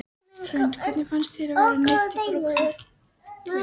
Hrund: Hvernig fyndist þér að vera neydd í brúðkaup núna?